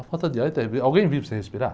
A falta de ar é terrí, alguém vive sem respirar?